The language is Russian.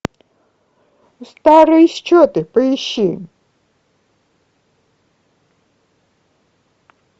старые счеты поищи